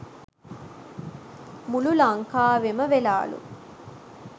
මුලු ලංකාවෙම වෙලාලු